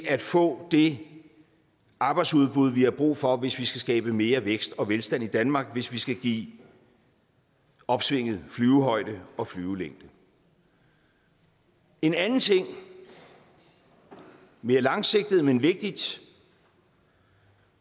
at få det arbejdsudbud vi har brug for hvis vi skal skabe mere vækst og velstand i danmark hvis vi skal give opsvinget flyvehøjde og flyvelængde en anden ting mere langsigtet men vigtig